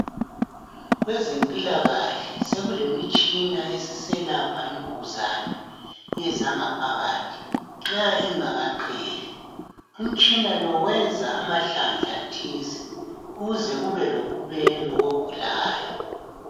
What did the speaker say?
Kwezempilakahle sokulemitshina esiselapha imvukuzane, ezangaphakathi nxa ingakaqeli. Umtshina lo wenza amahlandla athile ukuze kube lobubelo kogulayo.